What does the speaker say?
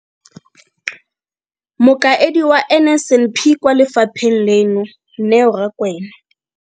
Mokaedi wa NSNP kwa lefapheng leno, Neo Rakwena.